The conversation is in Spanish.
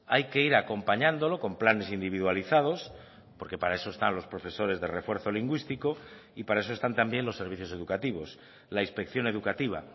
hay que ir acompañándolo con planes individualizados porque para eso están los profesores de refuerzo lingüístico y para eso están también los servicios educativos la inspección educativa